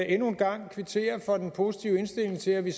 endnu en gang kvittere for den positive indstilling til at vi